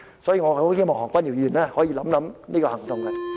所以，我很希望何君堯議員可以考慮這個行動。